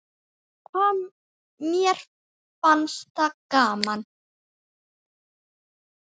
Hvað mér fannst það gaman.